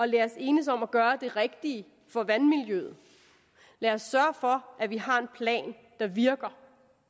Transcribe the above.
lad os enes om at gøre det rigtige for vandmiljøet og lad os sørge for at vi har en plan der virker